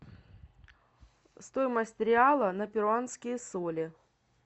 стоимость реала на перуанские соли